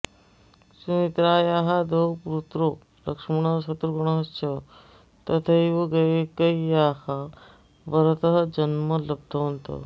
सुमित्रायाः द्वौ पुत्रौ लक्ष्मणः शत्रुघ्नः च तथैव कैकेय्याः भरतः जन्म लब्धवन्तः